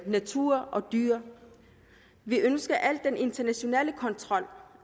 natur og dyr vi ønsker den internationale kontrol